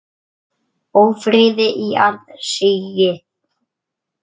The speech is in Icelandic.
Ófriði í aðsigi.